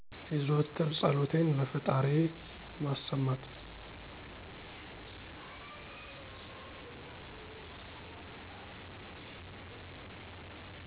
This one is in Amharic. የዘወትር ፀሎቴን ለፈጣሪዬ ማሰማት